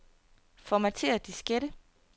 Formatér diskette.